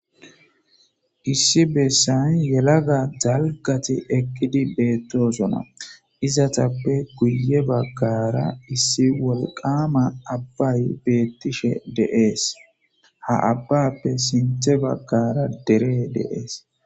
issi bessan yelaga dalgati ekkidi beettoosona izatappe guye baggara issi wolqama abbay beettishe deees ha abbappe sinthe baggara dere deees